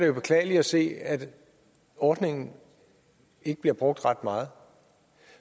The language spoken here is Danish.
jo beklageligt at se at ordningen ikke bliver brugt ret meget